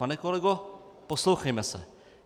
Pane kolego, poslouchejme se.